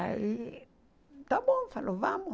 Aí, está bom, falou, vamos.